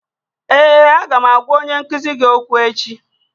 Ee, Aga m agwa onye nkuzi gị okwu echi